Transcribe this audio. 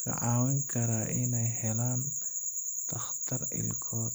ka caawin karaa in ay helaan takhtar ilkood.